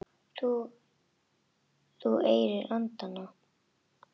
Þú ærir andana!